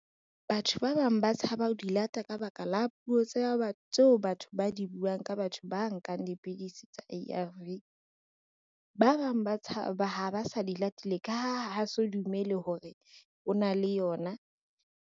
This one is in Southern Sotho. Batho ba bang ba tshaba ho di lata ka baka la puo tsa tseo batho ba di buang, ka batho ba nkang dipidisi tsa A_R_V. Ba bang ba ha ba sa di latile ka ha ha so dumele hore ona le yona.